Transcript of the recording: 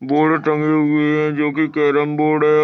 Board टंगे हुए है। जो की केरम बोर्ड है।